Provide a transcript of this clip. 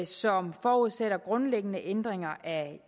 som forudsætter grundlæggende ændringer af